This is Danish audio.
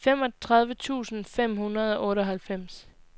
femogtredive tusind fem hundrede og otteoghalvfems